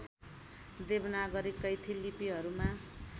Devanagari Kaithi लिपिहरूमा